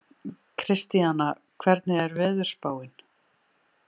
Kristíana, hvernig er veðurspáin?